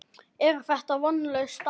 Er þetta vonlaus staða?